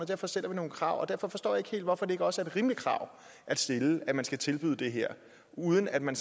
derfor stiller vi nogle krav derfor forstår jeg ikke helt hvorfor det ikke også er et rimeligt krav at stille at man skal tilbyde det her uden at man